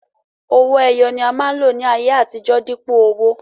Owó ẹyọ ni a máa ń lò ní ayé àtijó, dípò owó.